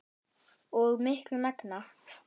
og miklu megna.